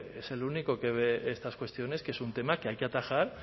es el único que ve estas cuestiones que es un tema que hay que atajar